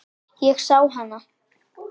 Ég sá hana.